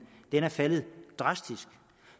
er faldet drastisk